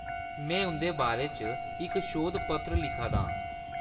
में उंʼदे बारै च इक शोध पत्र लिखा दा आं।